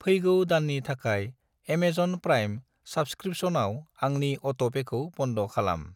फैगौ दाननि थाखाय एमेजन प्राइम साब्सक्रिपसनाव आंनि अट'पेखौ बन्द खालाम।